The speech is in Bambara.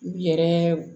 U yɛrɛ